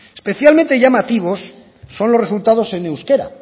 especialmente llamativos son los resultados en euskera